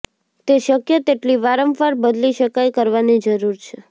તે શક્ય તેટલી વારંવાર બદલી શકાય કરવાની જરૂર છે